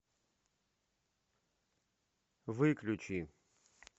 выключи